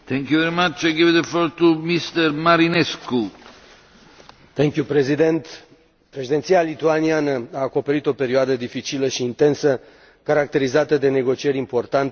Domnule președinte, Președinția lituaniană a acoperit o perioadă dificilă și intensă, caracterizată de negocieri importante, care au vizat politici vitale pentru funcționarea și evoluția Uniunii.